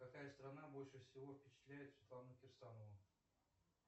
какая страна больше всего впечатляет светлану кирсанову